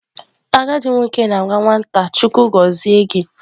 Agadi nwoke na-agwa nwata "" Chukwu gozie gi"."